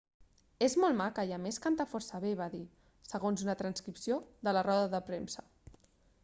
és molt maca i a més canta força bé va dir segons una transcripció de la roda de premsa